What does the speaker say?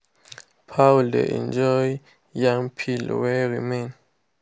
fowl dey enjoy yam peel wey remain.